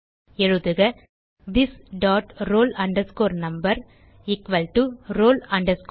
எழுதுக this dot roll number equal to roll number